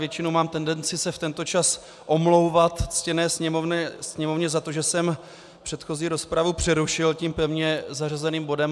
Většinou mám tendenci se v tento čas omlouvat ctěné Sněmovně za to, že jsem předchozí rozpravu přerušil tím pevně zařazených bodem.